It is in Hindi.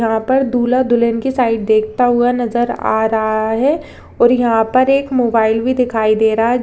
यहां पर दूल्हा दुल्हन की साइड देखता हुआ नजर आ रहा है और यहां पर एक मोबाईल भी दिखाई दे रहा है।